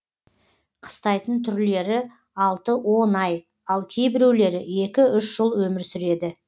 қыстайтын түрлері алты он ай ал кейбіреулері екі үш жыл өмір сүреді